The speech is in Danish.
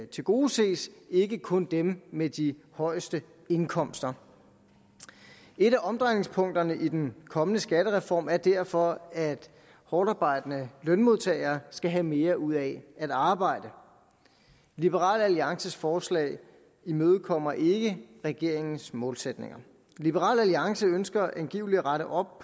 tilgodeses ikke kun dem med de højeste indkomster et af omdrejningspunkterne i den kommende skattereform er derfor at hårdtarbejdende lønmodtagere skal have mere ud af at arbejde liberal alliances forslag imødekommer ikke regeringens målsætninger liberal alliance ønsker angiveligt at rette op